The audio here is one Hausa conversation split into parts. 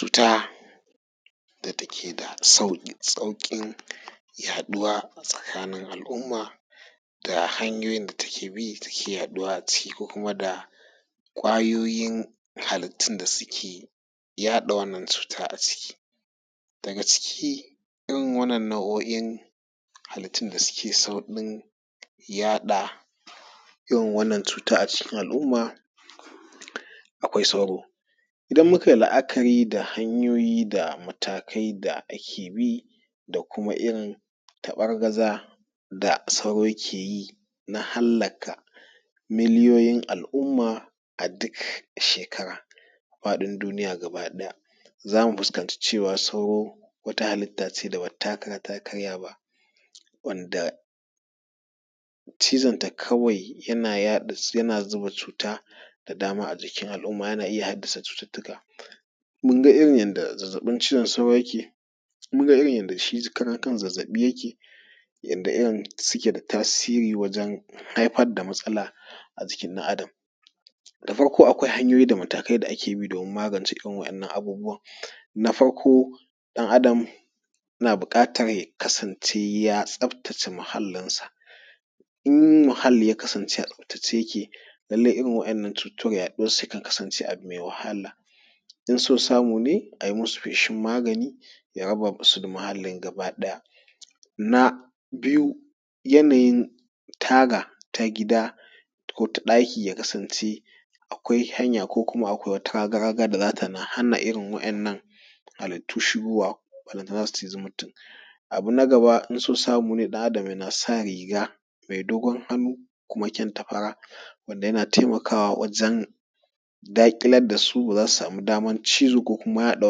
Cuta da take da sauƙin yaɗuwa a tsakanin al’umma da hanyoyin da take bi take yaɗuwa a ciki ko kuma da hanyoyin da kwayoyin halitan da suke haɗa wannan cuta a ciki. Daga ciki irin waɗannan nau’o’in halittun da suke sauƙin yaɗa irin wannan cuta a cikin al’umma, akwai sauro idan muka yi la’akari da hanyoyi da matakai da ake bi da kuma irin tabargaza da sauro ke yi na halka miliyoyin al’umma a duk shekara a duniya gabaɗaya za mu fuskanta cewa sauro mutane da be taka kara ta karya ba wanda cizon ta kawai yana zuba cuta da dama a jikin al’umma yana iya haddasa cututtuka. Mun ga irin zazzabin cizon sauro yake, mun ga irin yanda shi karan kansa zazzafi yake yanda yan suke da tasiri wajen haifar da matsala a jiki ɗan’Adam da farko akwai hanyoyi da matakai da ake bi domin magance irin waɗannan abubuwan na farko ɗan’Adam yana buƙatan ya kasance ya tsaftace muhallinsa, in muhalli ya kasance a tsaftace yake lallai irin waɗannan cutan yaɗuwarsu yakan kasance abu me wahala don so samu ne a yi musu feshi magani ya raba su da muhallin gabaɗaya. Na biyu yanayin taga gida ko ta ɗaki ya kasance akwai hanya ko kuma akwai raga-raga da za ta hana irin waɗannan halittu shigowa, balantana su cizi mutum.. Na gaba in so samu ne ɗan’Adam yana sa riga mai dogon hannu kuma kyanta fara wanda yana taimakawa daƙilar da su wanda ba za su samu daman cizo ko kuma yaɗa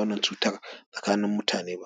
wannan cutan tsakanin mutane ba.